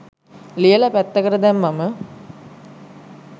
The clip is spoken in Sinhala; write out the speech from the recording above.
ලියල පැත්තකට දැම්මහම.